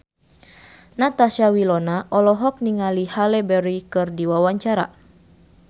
Natasha Wilona olohok ningali Halle Berry keur diwawancara